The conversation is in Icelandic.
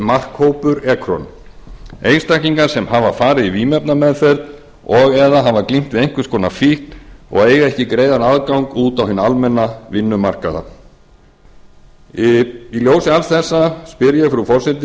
markhópur ekron einstaklingar sem hafa farið í vímuefnameðferð og eða hafa glímt við einhvers konar fíkn og eiga ekki greiðan aðgang út á hinn almenna vinnumarkað í ljósi alls þessa spyr ég frú forseti